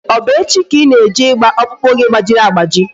Ọ bụ echi ka Ị na-eje ịgba ọkpụkpụ gị gbajiri agbaji?